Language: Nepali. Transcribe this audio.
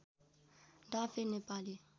डाँफे नेपाली